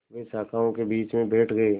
वे शाखाओं के बीच में बैठ गए